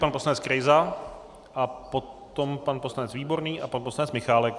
Pan poslanec Krejza a potom pan poslanec Výborný a pan poslanec Michálek.